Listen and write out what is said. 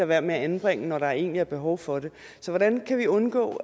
være med at anbringe når der egentlig er behov for det så hvordan kan vi undgå